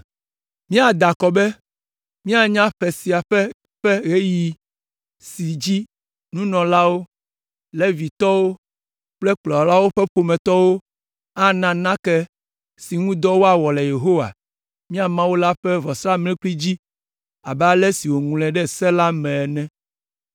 “Míada akɔ be míanya ƒe sia ƒe ƒe ɣeyiɣi si dzi nunɔlawo, Levitɔwo kple kplɔlawo ƒe ƒometɔwo ana nake si ŋu dɔ woawɔ le Yehowa, mía Mawu la ƒe vɔsamlekpui dzi abe ale si woŋlɔe ɖe Se la me ene.